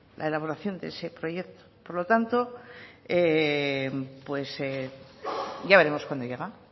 la elaboración de ese proyecto por lo tanto ya veremos cuando llega